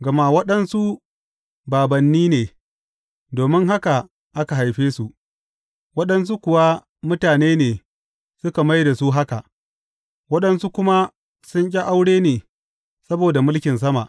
Gama waɗansu bābānni ne domin haka aka haife su; waɗansu kuwa mutane ne suka mai da su haka; waɗansu kuma sun ƙi aure ne saboda mulkin sama.